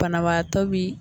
Banabaatɔ b'i